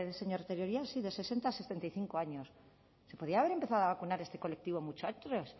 señor tellería sí de sesenta a setenta y cinco años se podía haber empezado a vacunar a este colectivo mucho antes